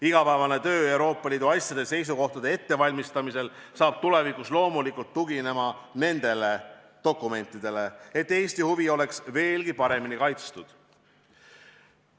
Igapäevane töö Euroopa Liidu asjades seisukohtade ettevalmistamisel hakkab tulevikus loomulikult tuginema nendele dokumentidele, et Eesti huvid oleks veelgi paremini kaitstud.